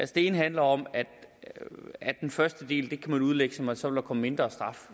det ene handler om at den første del kan man udlægge som om der så vil komme mindre straf